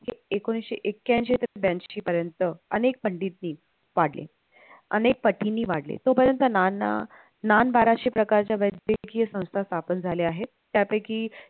हे एकोणीसशे एक्क्यांशी ते ब्यांशी पर्यंत अनेक पंडित नि पाडले, अनेक पटीनी वाढले तो पर्यंत नाना, नान बाराशे प्रकारचे वैद्यकीय संस्था स्थापन झाल्या आहेत, त्यापैकी